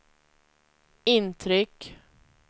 intryck